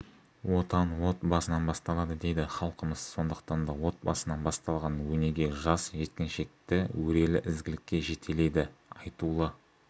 отан отбасынан басталады дейді халқымыз сондықтан да отбасынан басталған өнеге жас жеткіншекті өрелі ізгілікке жетелейді айтулы